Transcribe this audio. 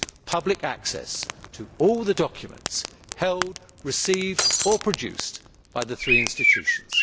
public access to all the documents held, received or produced by the three institutions.